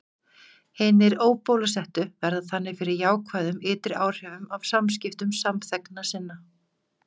Hinir óbólusettu verða þannig fyrir jákvæðum ytri áhrifum af samskiptum samþegna sinna.